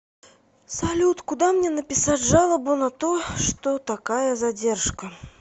салют куда мне написать жалобу на то что такая задержка